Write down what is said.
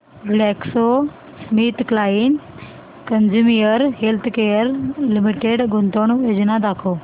GlaxoSmithKline consumer healthcare limited गुंतवणूक योजना दाखव